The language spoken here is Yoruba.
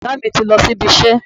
Bọ̀dá mi ti lọ sí ibi iṣẹ́